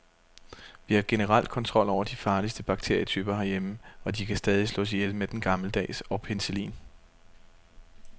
Vi har generelt kontrol over de farligste bakterietyper herhjemme, og de kan stadig slås ihjel med den gammeldags og penicillin.